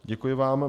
Děkuji vám.